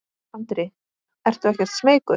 Andri: Ertu ekkert smeykur?